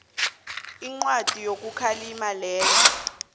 incwadi yokukhalima lena